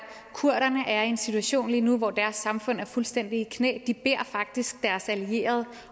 at kurderne er i en situation lige nu hvor deres samfund er fuldstændig i knæ de beder faktisk deres allierede